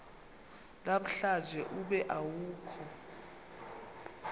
namhlanje ube awukho